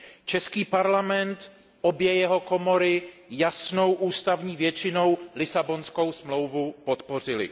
Český parlament, obě jeho komory, jasnou ústavní většinou Lisabonskou smlouvu podpořily.